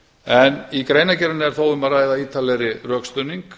en í greinargerðinni er þó um að ræða ítarlegri rökstuðning